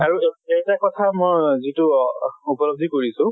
আৰু এ এটা কথা মই যিটো উপলব্ধি কৰিছো